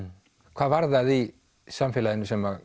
hvað var það í samfélaginu sem